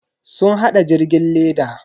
Sun hada jirgin leda.